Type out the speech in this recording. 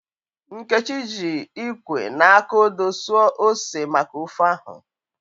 Nkechi ji ikwe na aka odoo suo ose maka ofe ahu.